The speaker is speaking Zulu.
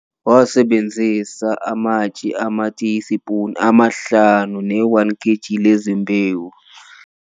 Sebenzisa amatshili, amatiyispuni amahlanu ne-1 kg lezimbewu.